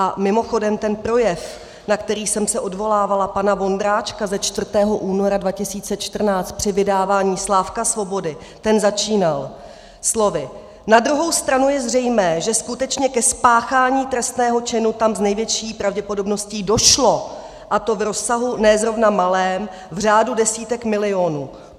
A mimochodem ten projev, na který jsem se odvolávala, pana Vondráčka ze 4. února 2014 při vydávání Slávka Svobody, ten začínal slovy: "Na druhou stranu je zřejmé, že skutečně ke spáchání trestného činu tam s největší pravděpodobností došlo, a to v rozsahu ne zrovna malém, v řádu desítek milionů.